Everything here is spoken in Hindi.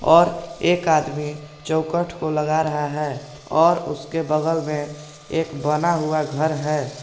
और एक आदमी चौखट को लग रहा है और उसके बगल में एक बना हुआ घर है।